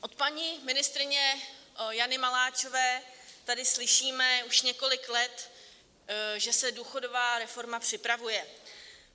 Od paní ministryně Jany Maláčové tady slyšíme už několik let, že se důchodová reforma připravuje.